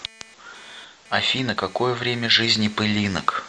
афина какое время жизни пылинок